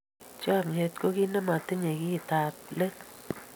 chamiet ko kit nematinye kit ab let